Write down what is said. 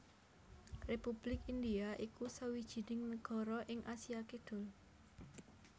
Republik India iku sawijining nagara ing Asia Kidul